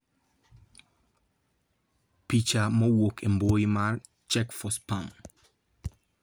Picha mowuok embui mar Check4Spam.